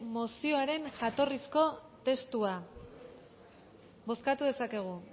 mozioaren jatorrizko testua bozkatu dezakegu